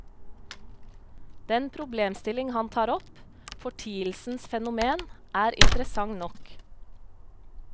Den problemstilling han tar opp, fortielsens fenomen, er interessant nok.